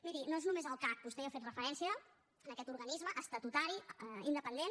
miri no és només el cac vostè hi ha fet referència a aquest organisme estatutari independent